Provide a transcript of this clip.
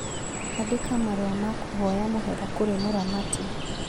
Andĩka marũa ma kũhoya mũhera kũrĩ mũramati